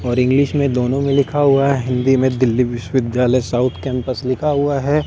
और इंग्लिश में दोनों में लिखा हुआ है हिंदी में दिल्ली विश्वविद्यालय साउथ कैंपस लिखा हुआ है।